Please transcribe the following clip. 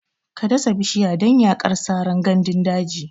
Ka dasa bishiya don yaƙar saran gandun daji!